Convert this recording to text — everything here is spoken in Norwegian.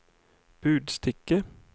budstikke